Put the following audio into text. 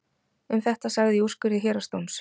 Um þetta sagði í úrskurði héraðsdóms: